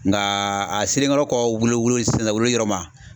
Nka a selen kɔrɔ kɔ wolo wolo sisan wololi yɔrɔ ma.